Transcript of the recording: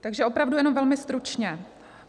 Takže opravdu jenom velmi stručně.